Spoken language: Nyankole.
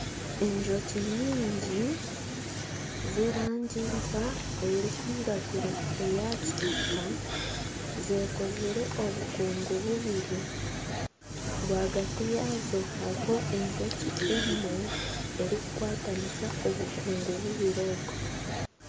Enjoki nyingi z'erangi nka erikwiragura, eya kitaka zikozire obukungu bubiri rwagati yaazo hariho enjoki emwe erikukwatanisa obukungu bubiri obwo.